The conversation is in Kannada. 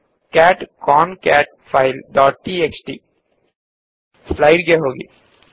cat concat file dot TXT slide ಗೆ ಹೋಗೋಣ